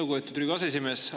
Lugupeetud Riigikogu aseesimees!